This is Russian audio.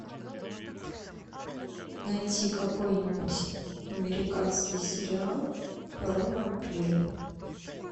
найти какой нибудь американский сериал про вампиров